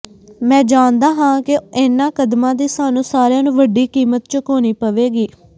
ਮੈਂ ਜਾਣਦਾ ਹਾਂ ਕਿ ਇਹਨਾਂ ਕਦਮਾਂ ਦੀ ਸਾਨੂੰ ਸਾਰਿਆਂ ਨੂੰ ਵੱਡੀ ਕੀਮਤ ਚੁਕਾਉਣੀ ਪਵੇਗੀ